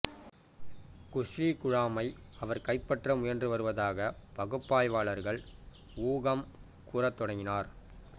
Guzzi குழாமை அவர் கைப்பற்ற முயன்று வருவதாக பகுப்பாய்வாளர்கள் ஊகம் கூறத் தொடங்கினர்